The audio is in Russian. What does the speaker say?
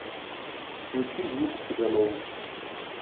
включи вику цыганову